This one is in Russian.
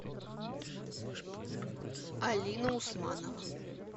алина усманова